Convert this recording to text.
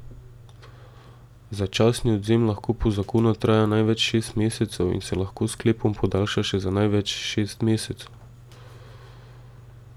Začasni odvzem lahko po zakonu traja največ šest mesecev in se lahko s sklepom podaljša še za največ šest mesecev.